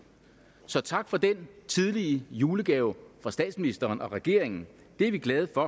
så tak for den tidlige julegave fra statsministeren og regeringen det er vi glade for